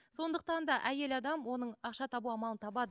сондықтан да әйел адам оның ақша табу амалын табады